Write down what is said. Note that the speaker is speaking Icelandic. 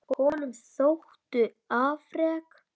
Honum þóttu afrek